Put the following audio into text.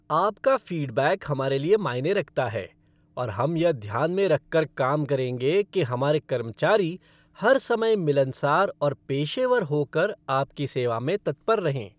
आपका फ़ीडबैक हमारे लिए मायने रखता है और हम यह ध्यान में रखकर काम करेंगे कि हमारे कर्मचारी हर समय मिलनसार और पेशेवर होकर आपकी सेवा में तत्पर रहें।